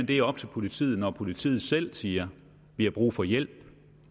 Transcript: det er op til politiet når politiet selv siger vi har brug for hjælp